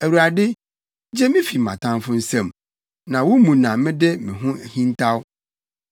Awurade gye me fi mʼatamfo nsam, na wo mu na mede me ho hintaw.